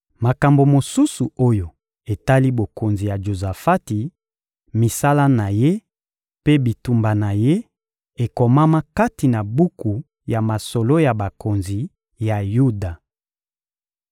Makambo mosusu oyo etali bokonzi ya Jozafati, misala na ye mpe bitumba na ye ekomama kati na buku ya masolo ya bakonzi ya Yuda.